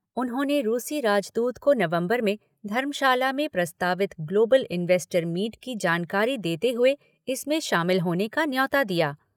उन्होंने रूसी राजदूत को नवम्बर में धर्मशाला में प्रस्तावित ग्लोबल इंवेस्टर मीट की जानकारी देते हुए इसमें शामिल होने का न्यौता दिया।